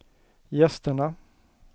gästerna